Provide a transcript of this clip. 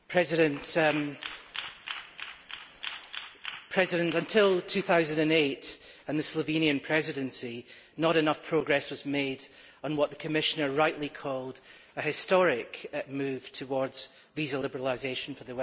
Madam President, until 2008 and the Slovenian Presidency, not enough progress was made on what the Commissioner rightly called an historic move towards visa liberalisation for the Western Balkans.